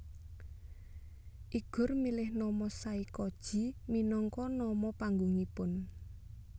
Igor milih nama Saykoji minangka nama panggungipun